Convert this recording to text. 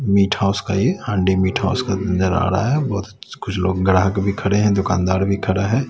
Meet house का ये Handi meat house का नजर आ रहा है बहुत कुछ लोग ग्राहक भी खड़े है दुकानदार भी खड़ा है।